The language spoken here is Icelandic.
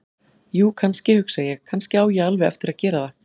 Jú, kannski, hugsa ég: Kannski á ég alveg eftir að gera það.